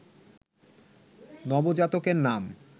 নবজাতকের নাম